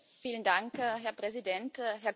Herr Präsident, Herr Kommissar!